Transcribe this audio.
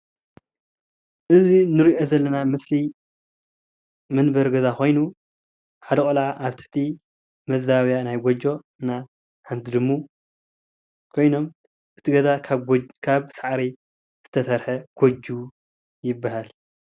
እዚ እንሪኦ ዘለና ምስሊ መንበሪ ገዛ ኾይኑ ሓደ ቆልዓ ኣብ ትሕቲ መዛበብያ ናይ ጎጆ ናይ ሓንቲ ድሙ ኾይኖም እቲ ገዛ ካብ ሳዕሪ ዝተሰርሐ ጎጆ ይበሃል ።